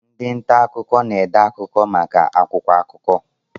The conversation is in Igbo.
Ndị nta akụkọ na-ede akụkọ maka akwụkwọ akụkọ.